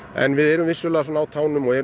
en við erum vissulega á tánum og erum